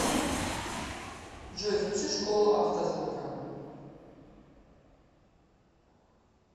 джой включи школу автозвука